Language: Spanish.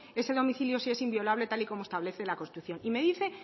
ese domicilio sí es inviolable tal y como establece la constitución y me dice